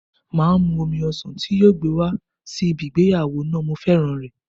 Máa mú omi ọsàn tí yóò mú wá sí ibi ìgbéyàwó náà, mo féràn rẹ̀.